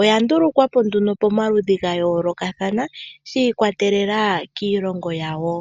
oya ndulikwa po nduno pamaludhi ga yoolokathana shi ikwatelela kiilongo yawo.